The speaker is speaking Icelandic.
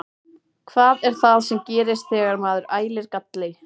Hvað er það sem gerist þegar maður ælir galli?